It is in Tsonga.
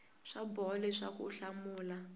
swa boha leswaku u hlamula